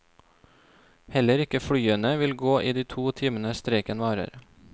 Heller ikke flyene vil gå i de to timene streiken varer.